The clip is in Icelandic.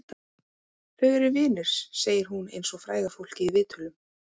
Þau eru vinir, segir hún eins og fræga fólkið í viðtölum.